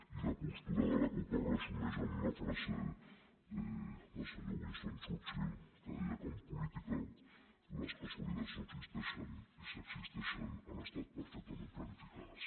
i la postura de la cup es resumeix amb una frase del senyor winston churchill que deia que en política les casualitats no existeixen i si existeixen han estat perfectament planificades